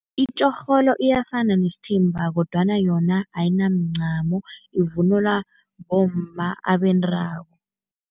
Itjorholo iyafana nesithimba kodwana yona ayinamncamo, ivunulwa bomma abendako.